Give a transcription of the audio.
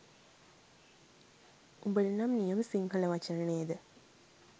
උඹට නම් නියම සිංහල වචන නේද